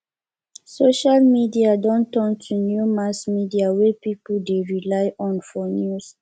social media don turn to new mass media wey people dey rely on for news